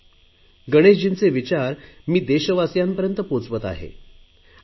गणेशजींचे विचार मी देशवासियांपर्यंत पोहच आणि नीटनेटकी असतील तितकी आमच्या देशाची प्रतिमा जगभर उजळेल